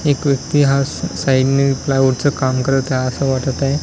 एक व्यक्ती हा स साइड ने प्लायवूड च काम करत आहे असं वाटत आहे.